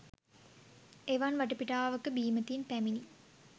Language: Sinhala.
එවන් වටපිටාවක බීමතින් පැමිණි